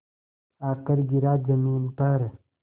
आकर गिरा ज़मीन पर